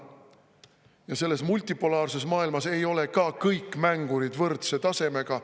Ja selles multipolaarses maailmas ei ole ka kõik mängurid võrdse tasemega.